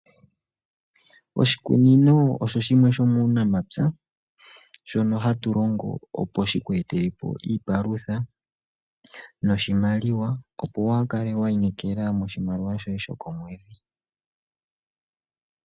Oshikununo osho oshinima shomu namapya shono hatu longo opo shiku etelepo iipalutha noshimaliwa opo waakale wa inekela moshimaliwa shoye shoko mwedhi.